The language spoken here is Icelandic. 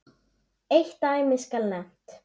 Eitt dæmi skal nefnt.